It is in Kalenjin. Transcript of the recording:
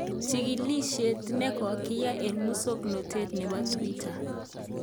Chikilisyet ne kogiyai eng musoknotet nebo twitter